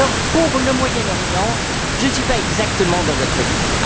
Pour le Moyen Orient, je ne suis pas exactement dans votre ligne.